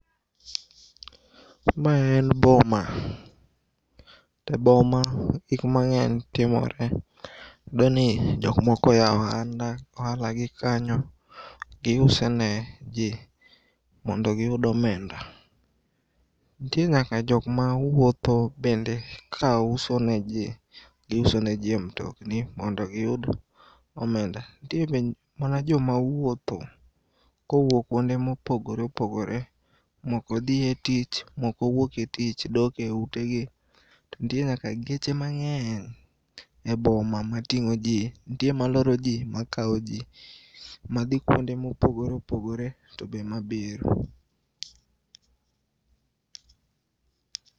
Ma en boma. Teboma gik mang'eny timore. Iyudoni jokmoko oyao ohala gi kanyo. Giusone jii mondo giyud omenda. Ntie nyaka jokmawuotho bende kauso ne jii, giusone jii e mtokni mondo giyud omenda. Ntie be mana jomawuotho kowuok kuonde mopogore opogore mokodhie tich, moko owuook e tich doke utegi. To ntie nyaka geche mang'eny e boma mating'o jii, ntie maloro jii, makao jii madhi kuonde mopogore opgore tobe mabiro.